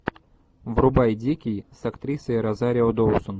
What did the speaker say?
врубай дикий с актрисой розарио доусон